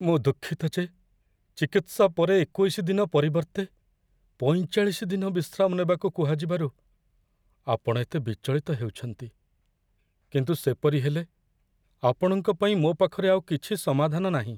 ମୁଁ ଦୁଃଖିତ ଯେ ଚିକିତ୍ସା ପରେ ୨୧ ଦିନ ପରିବର୍ତ୍ତେ ୪୫ ଦିନ ବିଶ୍ରାମ ନେବାକୁ କୁହାଯିବାରୁ ଆପଣ ଏତେ ବିଚଳିତ ହେଉଛନ୍ତି, କିନ୍ତୁ ସେପରି ହେଲେ ଆପଣଙ୍କ ପାଇଁ ମୋ ପାଖରେ ଆଉ କିଛି ସମାଧାନ ନାହିଁ।